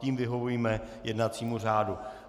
Tím vyhovíme jednacímu řádu.